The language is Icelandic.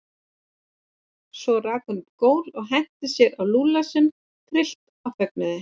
Svo rak hún upp gól og henti sér á Lúlla sinn tryllt af fögnuði.